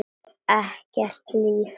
Ekkert líf.